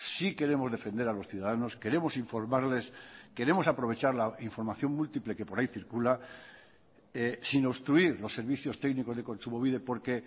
sí queremos defender a los ciudadanos queremos informarles queremos aprovechar la información múltiple que por ahí circula sin obstruir los servicios técnicos de kontsumobide porque